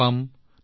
ধন্যবাদ